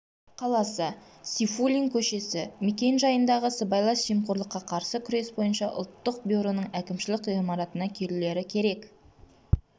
қаласы сейфуллин көшесі мекен-жайындағы сыбайлас жемқорлыққа қарсы күрес бойынша ұлттық бюроның әкімшілік ғимаратына келулері керек